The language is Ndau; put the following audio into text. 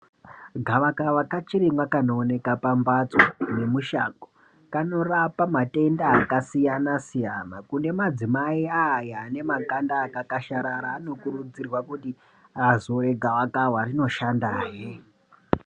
Gavakava kachirimwa kanooneka pambatso nemushango kanorapa matenda akasiyana siyana kune madzimai aya ane makanda akakasharara anokurudzirwa kuti azore gavakava rino shandahe.